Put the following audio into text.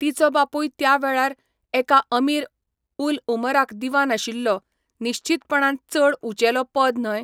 तिचो बापूय त्या वेळार, एका अमीर उल उमराक दीवान आशिल्लो, निश्चीतपणान चड उंचेलो पद न्हय.